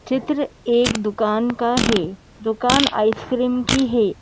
चित्र एक दुकान का है दुकान आइसक्रीम की है।